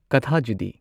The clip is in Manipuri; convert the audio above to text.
ꯀꯊꯥꯖꯣꯗꯤ